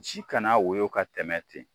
Ci kana woyo ka tɛmɛ ten